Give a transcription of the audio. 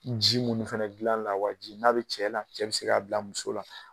Ji mun fɛnɛ gilan lawaji n'a be cɛ la. Cɛ be se ka bila muso la.